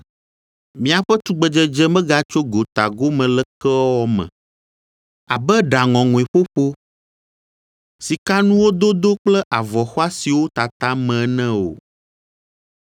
Miaƒe tugbedzedze megatso gota gome lekewɔwɔ me, abe ɖa ŋɔŋɔe ƒoƒo, sikanuwo dodo kple avɔ xɔasiwo tata me ene o,